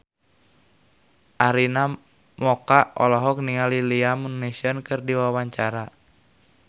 Arina Mocca olohok ningali Liam Neeson keur diwawancara